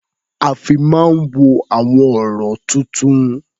A fi máa ń wo àwọn ọ̀rọ̀-tuntun.